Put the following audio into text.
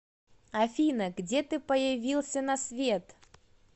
афина где ты появился на свет